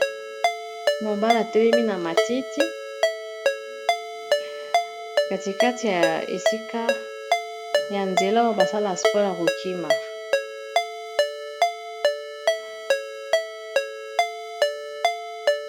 Mobala atelemi na matiti, katikati ya esika ya nzela oyo basala sport ya kokima.